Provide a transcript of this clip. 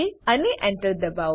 અને Enter enter દબાવો